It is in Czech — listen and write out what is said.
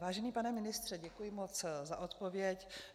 Vážený pane ministře, děkuji moc za odpověď.